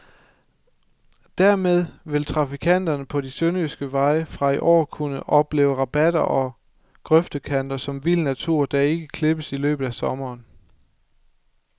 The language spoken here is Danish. Dermed vil trafikanterne på de sønderjyske veje fra i år kunne opleve rabatter og grøftekanter som vild natur, der ikke klippes i løbet af sommeren.